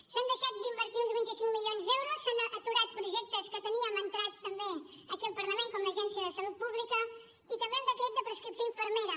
s’han deixat d’invertir uns vint cinc milions d’euros s’han aturat projectes que teníem entrats també aquí al parlament com l’agència de salut pública i també el decret de prescripció infermera